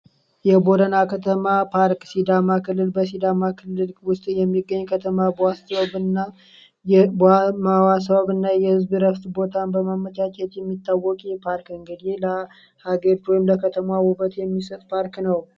የቦረና ከተማ ፓርክ ሲዳማ ክልል በሲዳማ ክልል ውስጥ የሚገኝ ከተማ የህዝብ ቦታ የሚታወቅ የፓርኪንግ ሌላ ከተማ ውበት የሚሰጥ ፓርክ ነው